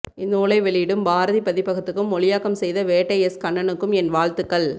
இந்நூலை வெளியிடும் பாரதிபதிப்பகத்துக்கும் மொழியாக்கம் செய்த வேட்டை எஸ் கண்ணனுக்கும் என் வாழ்த்துக்கள்